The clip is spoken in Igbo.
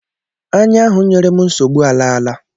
Anya ahụ nyere m nsogbu alaala